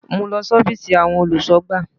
Mú lọ sí Ófììsì àwọn olùsọ̀gbà